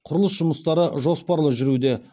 құрылыс жұмыстары жоспарлы жүруде